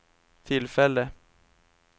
tillfälle